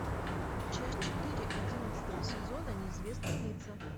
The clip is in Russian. часть четыре одиннадцатого сезона неизвестные лица